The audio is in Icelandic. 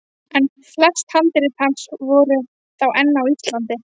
En flest handrit hans voru þá enn á Íslandi.